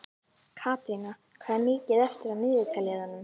Katrína, hvað er mikið eftir af niðurteljaranum?